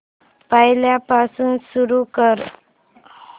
पहिल्यापासून सुरू कर